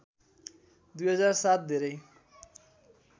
२००७ धेरै